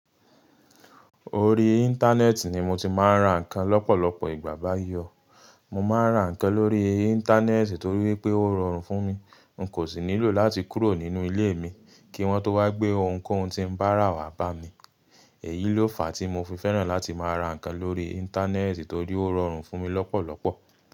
Orí Íńtánẹ́ẹ̀tì ni mo ti máa ń ra ǹkan lọ́pọ̀lọpọ̀ ìgbà báyii o Mo máa ń ra ǹkan lórí Íńtánẹ́ẹ̀tì torí pé ó rọrùn fún mi. N kò sì nílò láti kúrò nínú ilé mi kí wọ́n tó wá gbé ohunkóhun tí ń bá rà wá bá mi. Èyí ló fàá tí mo fi fẹ́ràn láti máa ra ǹkan lórí Íńtánẹ́ẹ̀tì torí ó rọrùn fún mi lọ́pọ̀lọpọ̀.